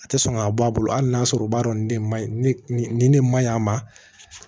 A tɛ sɔn ka bɔ a bolo ali n'a sɔrɔ o b'a dɔn ne ma nin ne man ɲi a ma